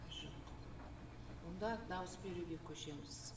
жоқ онда дауыс беруге көшеміз